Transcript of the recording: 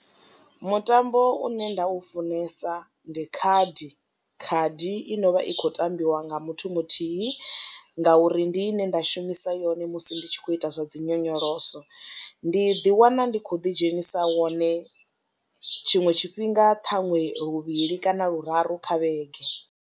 Mutambo une nda u funesa ndi khadi, khadi i no vha i khou tambiwa nga muthu muthihi ngauri ndi ine nda shumisa yone musi ndi tshi khou ita zwa dzi nyonyoloso, ndi ḓiwana ndi khou ḓidzhenisa wone tshiṅwe tshifhinga ṱhaṅwe luvhili kana luraru kha vhege.